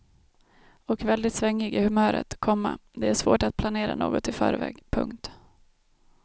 Och väldigt svängig i humöret, komma det är svårt att planera något i förväg. punkt